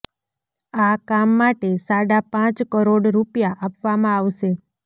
આ કામ માટે સાડા પાંચ કરોડ રૂપિયા આપવામાં આવશે